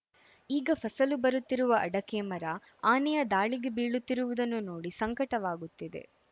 ಈಗ ಫಸಲು ಬರುತ್ತಿರುವ ಅಡಕೆ ಮರ ಆನೆಯ ದಾಳಿಗೆ ಬೀಳುತ್ತಿರುವುದನ್ನು ನೋಡಿ ಸಂಕಟವಾಗುತ್ತಿದೆ